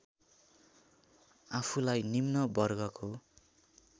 आफूलाई निम्न वर्गको